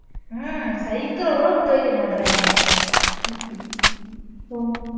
அஹ் cycle அ கூட விட்டு வைக்க மாட்டாய்ங்கராங்க